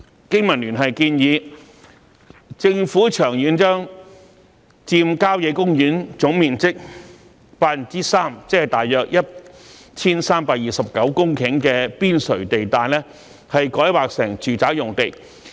經民聯建議政府長遠將佔郊野公園總面積百分之三的邊陲地帶改劃成住宅用地。